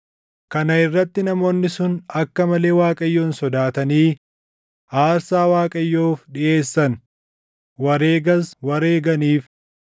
Kana irratti namoonni sun akka malee Waaqayyoon sodaatanii aarsaa Waaqayyoof dhiʼeessan; wareegas wareeganiif.